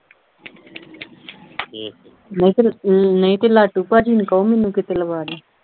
ਨਹੀਂ ਤੇ ਨਹੀਂ ਤੇ ਲਾਟੂ ਭਾਜੀ ਨੂੰ ਕਹੋ ਮੈਨੂੰ ਕਿਤੇ ਲਵਾ ਦੇਣ।